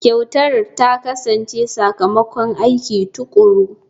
Kyautar ta kasance sakamakon aiki tuƙuru.